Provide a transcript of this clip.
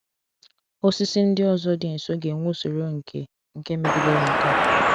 Osisi ndị ọzọ dị nso ga-enwe usoro nke nke megidere nke a.